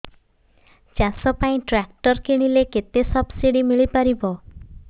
ଚାଷ ପାଇଁ ଟ୍ରାକ୍ଟର କିଣିଲେ କେତେ ସବ୍ସିଡି ମିଳିପାରିବ